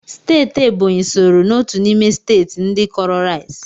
Steeti Ebonyi sooro n'otu n'ime steeti ndị kọọrọ rais